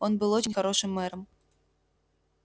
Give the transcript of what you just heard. он был очень хорошим мэром